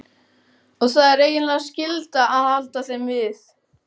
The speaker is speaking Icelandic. Og það er eiginlega skylda að halda þeim við.